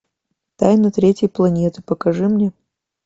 тайна третьей планеты покажи мне